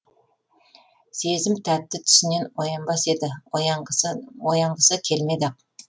сезім тәтті түсінен оянбас еді оянғысы келмеді ақ